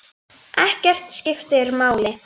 Ekkert skiptir máli.